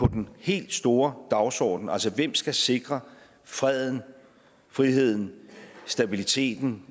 den helt store dagsorden altså hvem skal sikre freden friheden stabiliteten